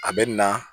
A bɛ na